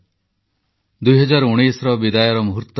• ନୂଆ ଦଶନ୍ଧିରେ ରାଷ୍ଟ୍ରର ବିକାଶ ପାଇଁ ସଂକଳ୍ପ ନେବାକୁ ଆହ୍ୱାନ